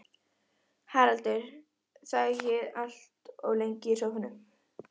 Haraldur þagði allt of lengi í sófanum.